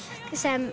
sem